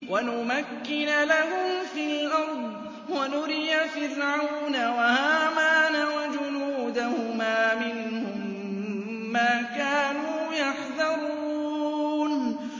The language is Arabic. وَنُمَكِّنَ لَهُمْ فِي الْأَرْضِ وَنُرِيَ فِرْعَوْنَ وَهَامَانَ وَجُنُودَهُمَا مِنْهُم مَّا كَانُوا يَحْذَرُونَ